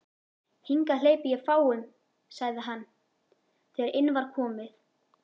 Hingað hleypi ég fáum sagði hann, þegar inn var komið.